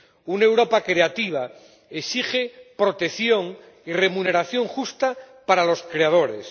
Una Europa creativa exige protección y remuneración justa para los creadores.